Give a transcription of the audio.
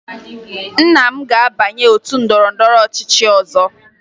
Nna m ga-abanye otu ndọrọndọrọ ọchịchị ọzọ